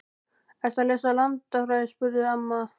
Ertu að lesa landafræði? spurði amma.